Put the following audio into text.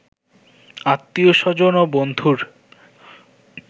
আত্মীয়-স্বজন ও বন্ধুর